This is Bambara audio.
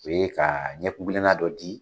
O ye ka ɲɛkunkilenna dɔ di